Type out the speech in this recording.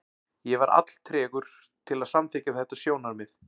Ég var alltregur til að samþykkja þetta sjónarmið.